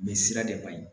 Bɛ sira de ka ɲi